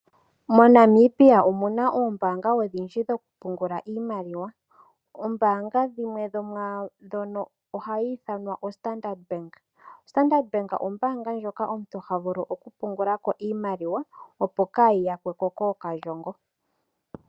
MoNamibia omu na ombaanga odhindji dhokupungula iimaliwa. Ombaanga dhimwe dho mwa dhono ohayi ithanwa oStandard Bank. Standard Bank ombaanga ndjoka omuntu ha vulu okupungula ko iimaliwa opo kayi yakwe po kookalyongo.